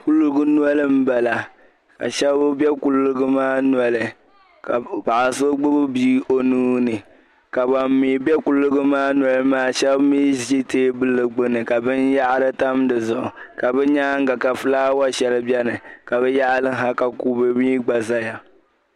Kuliga noli m-bala ka shɛba be kuliga maa noli ka paɣa so gbibi bia o nuu ni ka ban mi be kuliga maa noli maa Shɛba mi ʒi teebuli gbini ka binyɛhari tam di zuɣu ka bɛ nyaaŋga ka fulaawa shɛli beni ka bɛ yaɣili ha ka kube mi gba zaya.